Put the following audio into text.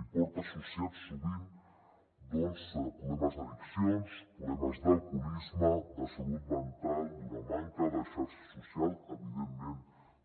i porta associats sovint problemes d’addicions problemes d’alcoholisme de salut mental d’una manca de xarxa social evidentment